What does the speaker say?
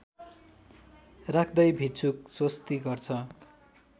राख्दै भिक्षुक स्वस्ति गर्छ